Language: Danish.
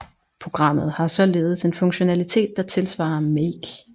Programmet har således en funktionalitet der tilsvarer make